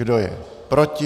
Kdo je proti?